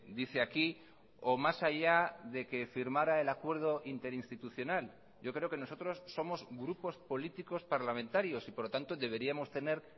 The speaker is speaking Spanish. dice aquí o más allá de que firmara el acuerdo interinstitucional yo creo que nosotros somos grupos políticos parlamentarios y por lo tanto deberíamos tener